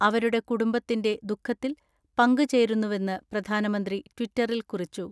അവരുടെ കുടംബത്തിന്റെ ദുഃഖത്തിൽ പങ്ക് ചേരുന്നുവെന്ന് പ്രധാനമന്ത്രി ട്വിറ്ററിൽ കുറിച്ചു.